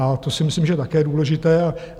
A to si myslím, že je také důležité.